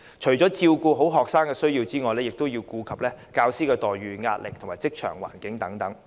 除照顧學生的需要，也要顧及教師的待遇、壓力和職場環境等。